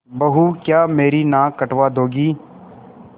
बहू क्या मेरी नाक कटवा दोगी